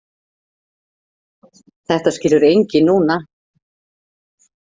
Þetta skilur enginn núna.